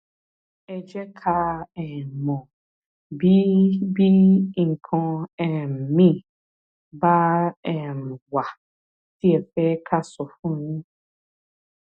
ẹ jẹ ká um mọ bí bí nǹkan um míì bá um wà tí ẹ fẹ ká sọ fún yín